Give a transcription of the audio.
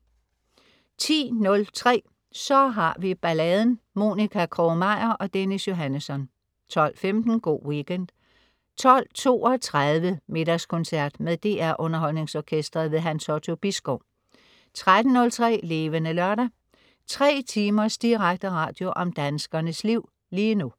10.03 Så har vi balladen. Monica Krog-Meyer og Dennis Johannesson 12.15 Go' Weekend 12.32 Middagskoncert. Med DR Underholdningsorkestret. Hans Otto Bisgaard 13.03 Levende Lørdag. 3 timers direkte radio om danskernes liv lige nu